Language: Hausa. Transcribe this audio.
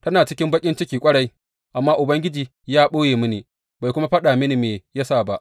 Tana cikin baƙin ciki ƙwarai, amma Ubangiji ya ɓoye mini, bai kuma faɗa mini me ya sa ba.